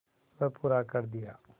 वह पूरा कर दिया